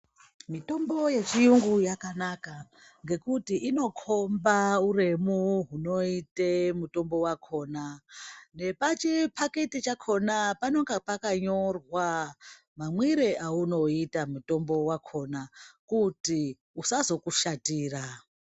Mitombo yechirungu yakanaka ngekuti inokomba uremu hunoita mutombo wakona Nepachipakiti pakona panenge pane pakanyorwa mamwiro atinoita mutombo wakona kuti usazokushatira.